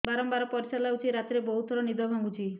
ବାରମ୍ବାର ପରିଶ୍ରା ଲାଗୁଚି ରାତିରେ ବହୁତ ଥର ନିଦ ଭାଙ୍ଗୁଛି